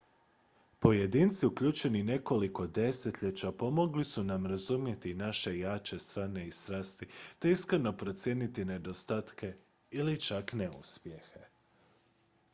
pojedinci uključeni nekoliko desetljeća pomogli su nam razumjeti naše jače strane i strasti te iskreno procijeniti nedostatke ili čak neuspjehe